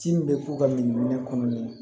Ci min bɛ k'u ka nin minɛ kɔnɔ